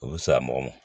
O bɛ sa mɔgɔ ma